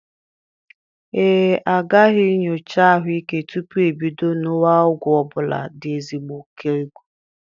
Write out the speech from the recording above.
Ee, agaghị nyocha ahụike tupu ibido ṅuwa ọgwụ ọ bụla dị ezigbo okegwu.